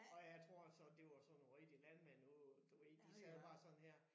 Og jeg tror altså det var sådan nogle rigtige landmænd nu du ved de sad bare sådan her